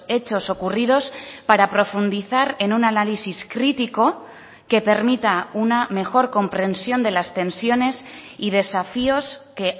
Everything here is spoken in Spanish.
hechos ocurridos para profundizar en un análisis crítico que permita una mejor comprensión de las tensiones y desafíos que